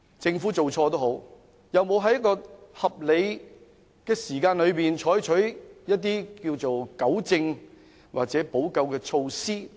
政府有沒有在合理時間內採取一些糾正或補救措施等？